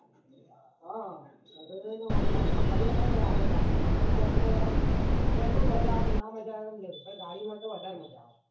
હ ભૈબંડો જોડે તો મોજ શોખ કરી શકાય આપદ ગાડીમાં આ તોહ train માં યાર train મૈં મજા આવે ના માજા તમને પર ગાડી માં વધારે મજા આવે